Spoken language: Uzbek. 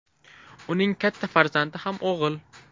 Uning katta farzandi ham o‘g‘il.